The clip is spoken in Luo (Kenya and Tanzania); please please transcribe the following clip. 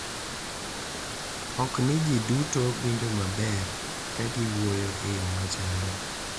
Ok ni ji duto winjo maber ka giwuoyo e yo machal.